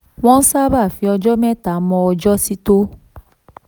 28. wọ́n sábà fi ọjọ́ mẹ́ta mọ ọjọ́ títọ́.